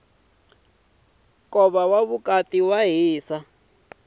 nkhuvo wa vukati wa dyisa